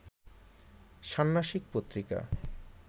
ষান্মাসিক পত্রিকা